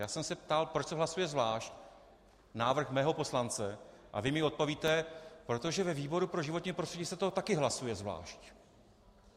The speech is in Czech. Já jsem se ptal, proč se hlasuje zvlášť návrh mého poslance, a vy mi odpovíte: Protože ve výboru pro životní prostředí se to taky hlasuje zvlášť.